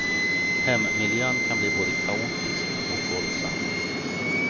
Hemmiljön kan bli både kaotisk och våldsam.